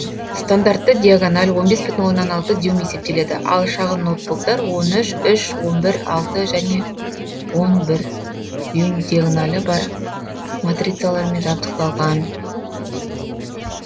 стандартты диагональ он бес бүтін оннан алты дюйм есептеледі ал шағын ноутбуктар он үш үш он бір алты және он бір дюйм диагоналі бар матрицалармен жабдықталған